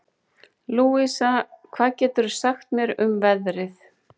Louisa, hvað geturðu sagt mér um veðrið?